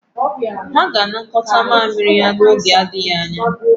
Ha ga-anakọta mamịrị ya n'oge adịghị anya.